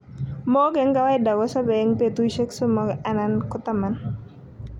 Mook en kawaida kosope en petusiek somo alan ko 10.